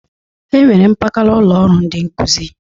E nwere mpakala ụlọ ọrụ ndị nkụzị.